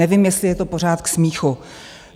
Nevím, jestli je to pořád k smíchu.